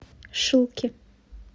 шилки